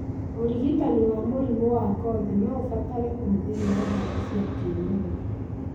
ũrigitani wa mũrimũ wa ngothi noũbatare ũhũthĩri wa ndawa cia kĩmerera